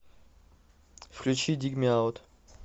включи диг ми аут